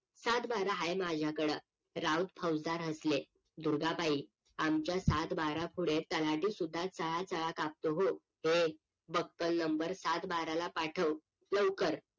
सातबारा हाय माझ्याकडं राऊत फौजदार हसले दुर्गाबाई आमच्या सातबाऱ्या पुढे तलाठी सुद्धा चळा चळा कापतो हो ए बकल नंबर सातबाराला पाठव लवकर